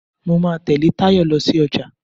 Mo máa tẹ̀lé Tayo lọ sí ọjà.